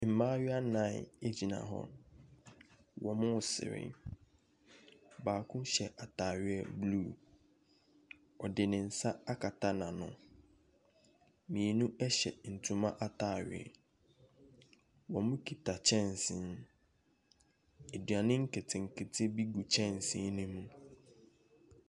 Mmayewa nnan gyina hɔ. Wɔresere. Baako hyɛ atareɛ blue. Ɔde ne nsa akata n'ano. Mmienu hyɛ ntoma atare. Wɔkita kyɛnse. Aduane nketenkete bi gu kyɛnse no mu.